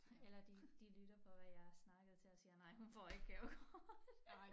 Eller de de lytter på at jeg snakker til og siger nej hun får ikke gavekortet